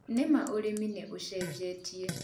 Nĩma ũrĩmi nĩ ũcenjetie